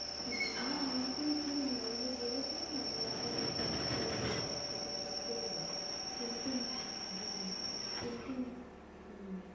হ্যাঁ না নতুন খোলেনি, ওই যে বলেছিলো না যে আবার repair করবে সবকিছু ঠিক করবে। কিন্তু হ্যাঁ কিন্তু হম